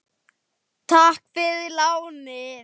Elsku vinur, hvíldu í friði.